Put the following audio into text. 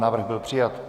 Návrh byl přijat.